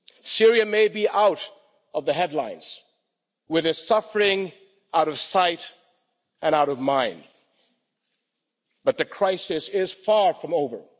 Syria may be out of the headlines, with its suffering out of sight and out of mind, but the crisis is far from over.